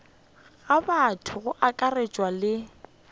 ga batho go akaretšwa le